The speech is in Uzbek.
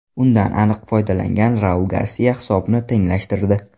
Undan aniq foydalangan Raul Garsia hisobni tenglashtirdi.